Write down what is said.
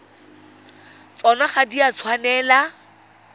tsona ga di a tshwanela